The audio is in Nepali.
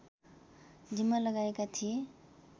जिम्मा लगाएका थिए